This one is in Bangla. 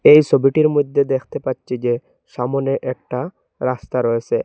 এই সবিটির মধ্যে দেখতে পাচ্ছি যে সামনে একটা রাস্তা রয়েসে।